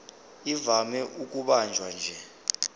ivame ukubanjwa nje